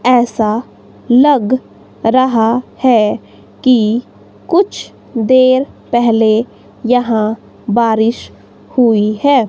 ऐसा लग रहा है कि कुछ देर पेहले यहां बारिश हुई है।